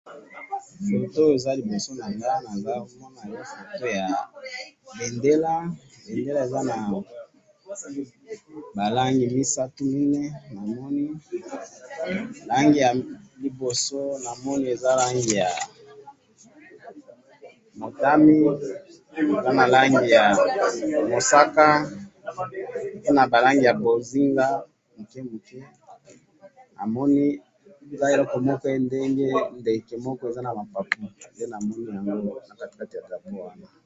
Na moni liboso na nga awa bendele eza na ba langi misatu, motane, mosaka na bozinga, na kamwa ndeke etomboli mapapu.